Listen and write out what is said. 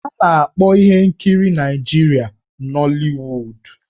A na-akpọ ihe nkiri ndị Naịjirịa 'Nollywood'.